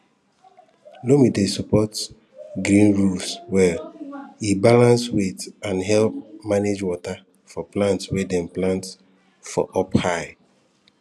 loam dey support green roofs well e balance weight and help manage water for plants wey dem plant for up high